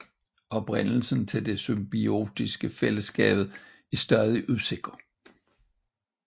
Oprindelsen til det symbiotiske fællesskab er stadig usikker